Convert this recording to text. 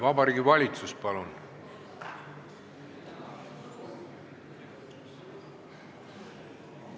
Vabariigi Valitsus, palun!